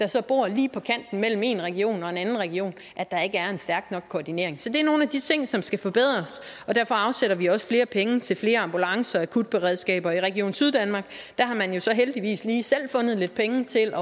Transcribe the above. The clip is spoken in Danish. der bor lige på kanten mellem en region og en anden region at der ikke er en stærk nok koordinering så det er nogle af de ting som skal forbedres og derfor afsætter vi også flere penge til flere ambulancer og akutberedskaber i region syddanmark har man jo så heldigvis lige selv fundet lidt penge til